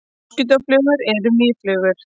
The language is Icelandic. Moskítóflugur eru mýflugur.